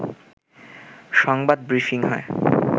সংবাদ ব্রিফিং হয়